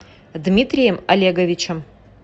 дмитрием олеговичем